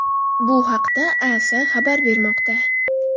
Bu haqda AS xabar bermoqda .